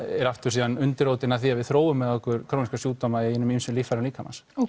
er aftur síðan undirrótin að því að við þróum með okkur króníska sjúkdóma í hinum ýmsu líffærum líkamans